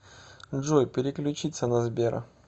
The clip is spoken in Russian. джой переключиться на сбера